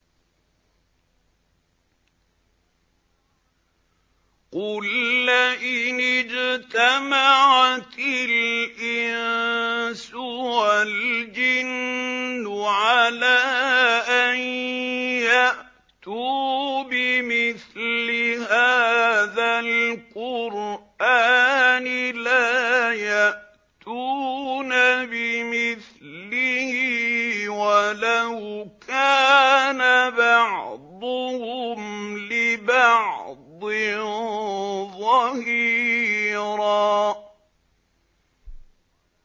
قُل لَّئِنِ اجْتَمَعَتِ الْإِنسُ وَالْجِنُّ عَلَىٰ أَن يَأْتُوا بِمِثْلِ هَٰذَا الْقُرْآنِ لَا يَأْتُونَ بِمِثْلِهِ وَلَوْ كَانَ بَعْضُهُمْ لِبَعْضٍ ظَهِيرًا